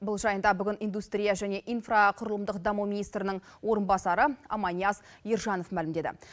бұл жайында бүгін индустрия және инфрақұрылымдық даму министрінің орынбасары аманияз ержанов мәлімдеді